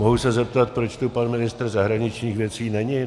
Mohu se zeptat, proč tu pan ministr zahraničních věcí není?